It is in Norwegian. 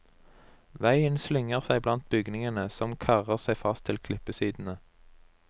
Veien slynger seg blant bygningene, som karrer seg fast til klippesidene.